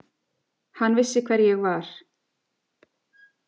Hann vissi hver ég var.